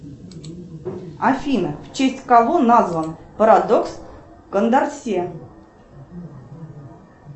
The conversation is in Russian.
афина в честь кого назван парадокс кондорсе